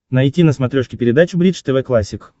найти на смотрешке передачу бридж тв классик